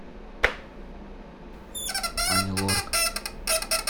ани лорак